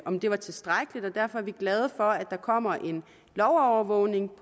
om det var tilstrækkeligt og derfor er vi glade for at der kommer en lovovervågning